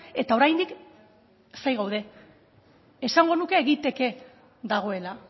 eta oraindik zain gaude esango nuke egiteke dagoela